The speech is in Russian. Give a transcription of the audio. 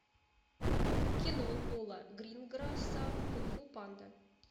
кино пола гринграсса кунг фу панда